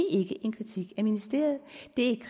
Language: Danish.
det